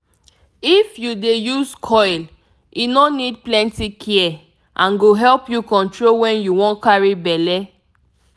if u dey use coil e no need plenty care and go help u control wen u wan carry belle